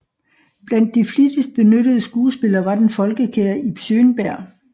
Blandt de flittigst benyttede skuespillere var den folkekære Ib Schønberg